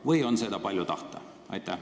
Või on seda palju tahta?